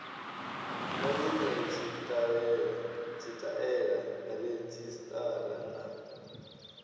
na nyimele tshitaela redzhisṱara na